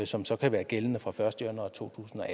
som så kan være gældende fra den første januar to tusind og